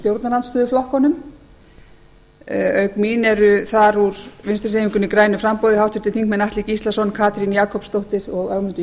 stjórnarandstöðuflokkunum auk mín eru þar úr vinstri hreyfingunni grænu framboði háttvirtir þingmenn atli gíslason katrín jakobsdóttir og ögmundur